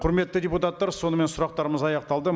құрметті депутаттар сонымен сұрақтарымыз аяқталды